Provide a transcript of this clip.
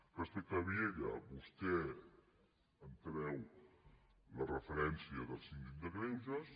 respecte a vielha vostè em treu la referència del síndic de greuges